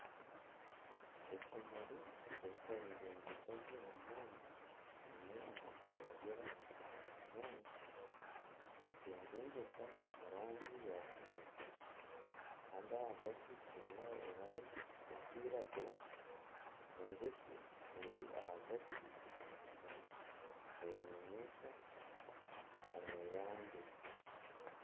Ekimuri kirikwengyengyeta gye munonga kiine amabara g'erangi ya kinyaasi. Nikyengyengyeta omu rangi ya kinekye. Kandi ahagati kiine erangi erikwiragura. Enjoki eri ahagati omu kimuri nenyunyuta omweyangye.